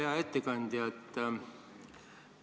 Hea ettekandja!